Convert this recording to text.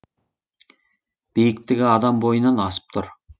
биіктігі адам бойынан асып тұр